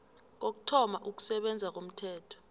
kokuthoma ukusebenza komthetho